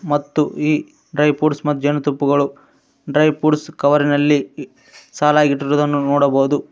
ಮತ್ತು ಈ dry fruits ಮತ್ತು ಜೇನುತುಪ್ಪಗಳು ಡ್ರೈ ಫ್ರೂಟ್ಸ್ ಕವರಿನಲ್ಲಿ ಸಾಲಾಗಿ ಇಟ್ಟಿರುವುದನು ನೋಡಬಹುದು ಮ--